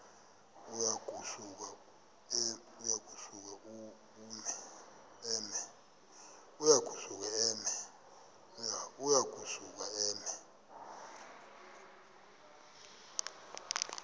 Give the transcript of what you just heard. uya kusuka eme